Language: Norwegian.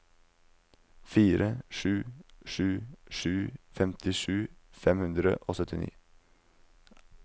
fire sju sju sju femtisju fem hundre og syttini